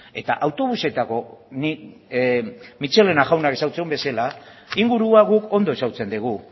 eta autobusetako nik michelena jaunak ezagutzen duen bezala ingurua guk ondo ezagutzen dugu